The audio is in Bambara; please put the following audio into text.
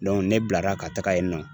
ne bilara ka taga yen nɔ.